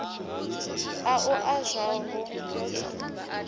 a u a zwavhu i